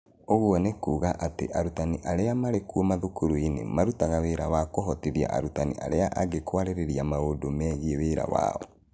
Ũguo nĩ kuuga atĩ arutani arĩa marĩ kuo mathukuru-inĩ marutaga wĩra wa kũhotithia arutani arĩa angĩ kwarĩrĩria maũndũ megiĩ wĩra wao.